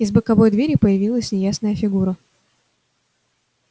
из боковой двери появилась неясная фигура